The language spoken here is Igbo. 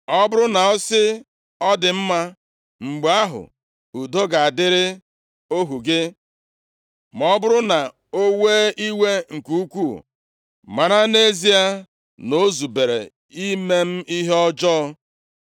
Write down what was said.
Ọ bụrụ na ọ sị, ‘Ọ dị mma,’ mgbe ahụ, udo ga-adịrị ohu gị. Ma ọ bụrụ na o wee iwe nke ukwuu, mara nʼezie na o zubere ime m ihe ọjọọ.